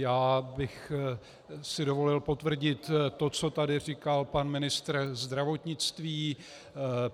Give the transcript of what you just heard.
Já bych si dovolil potvrdit to, co tady říkal pan ministr zdravotnictví.